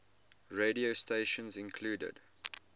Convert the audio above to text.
radio stations include